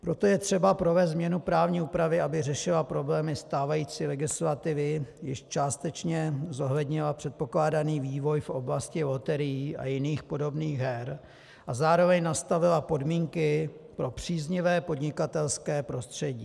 Proto je třeba provést změnu právní úpravy, aby řešila problémy stávající legislativy, jež částečně zohlednila předpokládaný vývoj v oblasti loterií a jiných podobných her a zároveň nastavila podmínky pro příznivé podnikatelské prostředí.